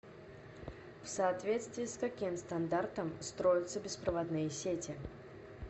в соответствии с каким стандартом строятся беспроводные сети